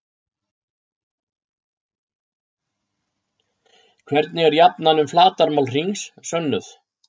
Hvernig er jafnan um flatarmál hrings sönnuð?